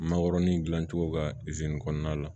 Makɔrɔni dilancogo ka kɔnɔna la